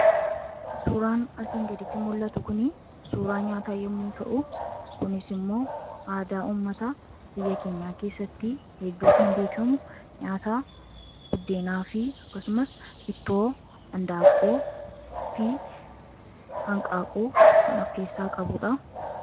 suuraan asiin gaditti mul'atu kun suuraa nyaataa yemmuu ta'u, kunis immoo aadaa ummata biyya keenyaa keessatti hedduu kan beekamu nyaata buddeenaa fi akkasumas ittoo hindaaqqoo fi hanqaaquu kan of keessaa qabuudha.